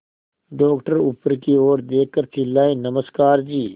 doctor ऊपर की ओर देखकर चिल्लाए नमस्कार जी